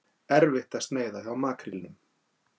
Erfitt að sneiða hjá makrílnum